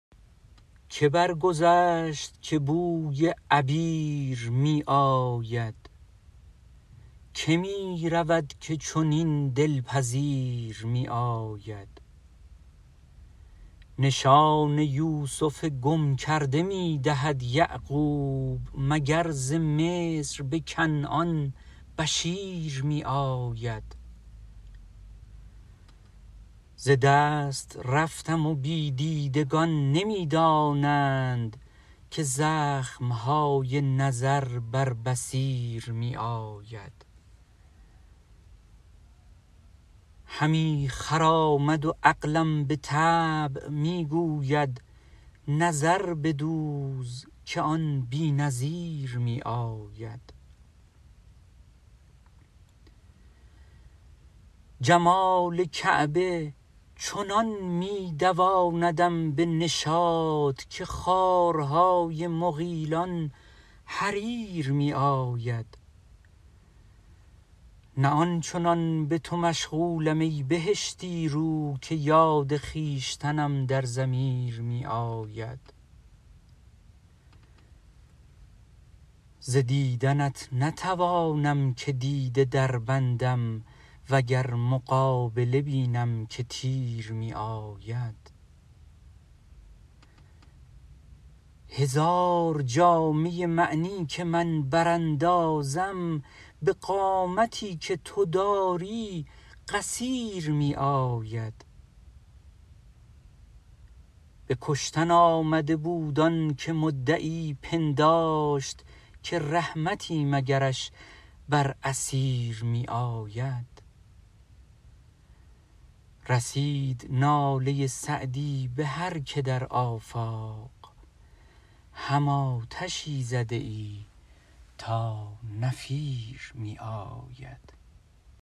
که برگذشت که بوی عبیر می آید که می رود که چنین دل پذیر می آید نشان یوسف گم کرده می دهد یعقوب مگر ز مصر به کنعان بشیر می آید ز دست رفتم و بی دیدگان نمی دانند که زخم های نظر بر بصیر می آید همی خرامد و عقلم به طبع می گوید نظر بدوز که آن بی نظیر می آید جمال کعبه چنان می دواندم به نشاط که خارهای مغیلان حریر می آید نه آن چنان به تو مشغولم ای بهشتی رو که یاد خویشتنم در ضمیر می آید ز دیدنت نتوانم که دیده دربندم و گر مقابله بینم که تیر می آید هزار جامه معنی که من براندازم به قامتی که تو داری قصیر می آید به کشتن آمده بود آن که مدعی پنداشت که رحمتی مگرش بر اسیر می آید رسید ناله سعدی به هر که در آفاق هم آتشی زده ای تا نفیر می آید